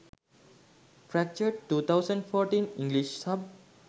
fractured 2014 english sub